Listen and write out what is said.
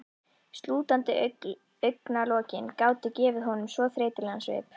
Slútandi augnalokin gátu gefið honum svo þreytulegan svip.